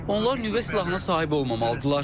Onlar nüvə silahına sahib olmamalıdırlar.